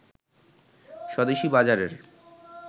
স্বদেশি বাজারের